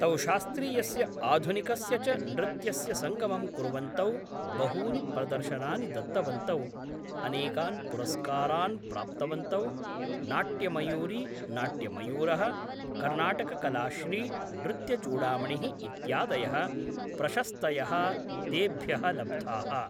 तौ शास्त्रीयस्य आधुनिकस्य च नृत्यस्य संगमं कुर्वन्तौ बहूनि प्रदर्शनानि दत्तवन्तौ अनेकान् पुरुस्कारान् प्राप्तवन्तौ नाट्यमयूरी नाट्यमयूरः कर्नाटककलाश्री नृत्यचूडामणिः इत्यादयः प्रशस्थयः तेभ्य लब्धाः